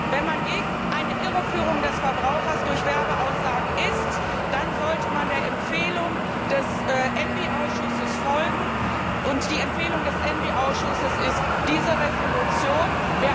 Wenn man gegen eine Irreführung des Verbrauchers durch Werbeaussagen ist, dann sollte man der Empfehlung des ENVI Ausschusses folgen die Empfehlung des ENVI Ausschusses ist diese Entschließung.